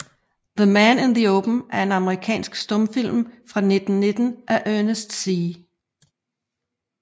The Man in the Open er en amerikansk stumfilm fra 1919 af Ernest C